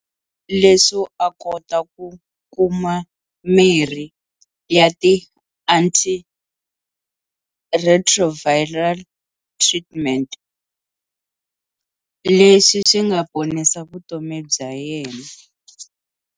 Leswo a kota ku kuma mirhi ya ti-anti-retroviral treatment, leswi swi nga ponisa vutomi bya yena.